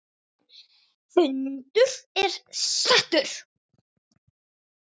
Fundur er settur!